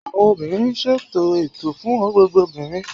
awọn obìnrin n ṣètò ẹ̀tọ́ fún gbogbo obìnrin